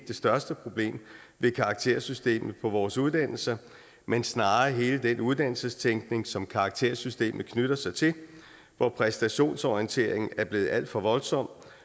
det største problem ved karaktersystemet på vores uddannelser men snarere hele den uddannelsestænkning som karaktersystemet knytter sig til hvor præstationsorienteringen er blevet alt for voldsom